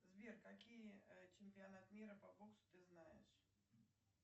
сбер какие чемпионат мира по боксу ты знаешь